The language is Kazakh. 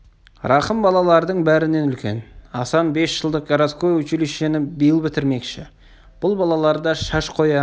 рахым балалардың бәрінен үлкен асан бес жылдық городское училищені биыл бітірмекші бұл балалар да шаш қоя